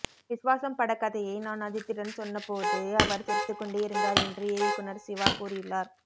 விஸ்வாசம் படக்கதையை நான் அஜித்திடன் சொன்ன போது அவர் சிறித்துக்கொண்டே இருந்தார் என்று இயக்குநர் சிவா கூறியுள்ளார்